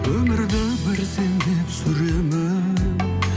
өмірді бір сен деп сүремін